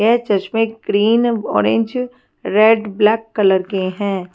यह चश्मे green orange red black colour के हैं।